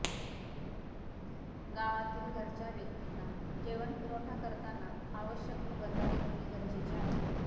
गावातील घरच्या व्यक्तींना जेवण पूरवठा करताना आवश्यक खबरदारी घेणे गरजेचे आहे